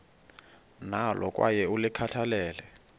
nalo kwaye ulikhathalele